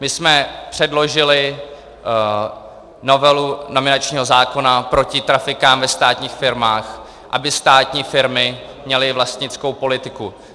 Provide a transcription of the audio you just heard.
My jsme předložili novelu nominačního zákona proti trafikám ve státních firmách, aby státní firmy měly vlastnickou politiku.